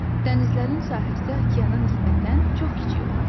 Dənizlərin sahəsi okeana nisbətən çox kiçik olur.